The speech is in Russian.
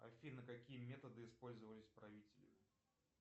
афина какие методы использовались правителем